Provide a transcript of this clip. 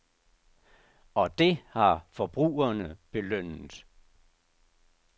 Og det har forbrugerne belønnet.